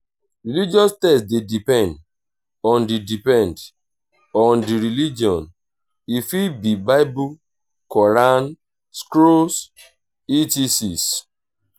religious text de depend on di depend on di religion e fit be bible quaran scrolls etcs